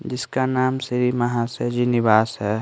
जिसका नाम श्री महाशय जी निवास है।